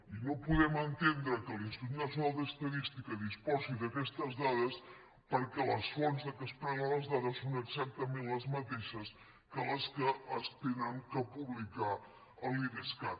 i no podem entendre que l’institut nacional d’estadística disposi d’aquestes dades perquè les fonts de què es prenen les dades són exactament les mateixes que les que s’han de publicar en l’idescat